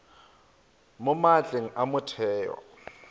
mo maatleng a metheo ya